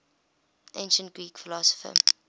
ancient greek philosopher